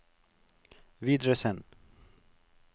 videresend